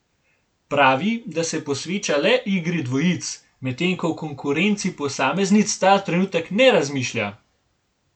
Pravi, da se posveča le igri dvojic, medtem ko v konkurenci posameznic ta trenutek ne razmišlja.